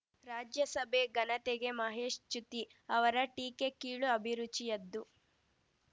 ರಾಜ್ಯಸಭೆ ಘನತೆಗೆ ಮಹೇಶ್‌ ಚ್ಯುತಿ ಅವರ ಟೀಕೆ ಕೀಳು ಅಭಿರುಚಿಯದ್ದು